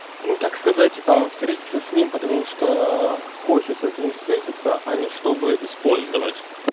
ну так сказать а встретиться с ним потому что хочется с ним встретиться а не чтобы использовать